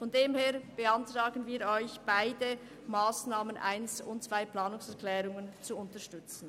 Insofern beantragen wir Ihnen, beide Planungserklärungen zu unterstützen.